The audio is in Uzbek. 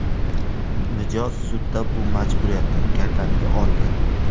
Mijoz sudda bu majburiyatni gardaniga olgan.